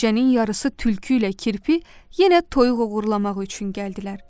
Gecənin yarısı tülkü ilə kirpi yenə toyuq oğurlamaq üçün gəldilər.